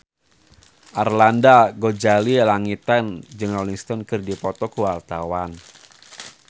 Arlanda Ghazali Langitan jeung Rolling Stone keur dipoto ku wartawan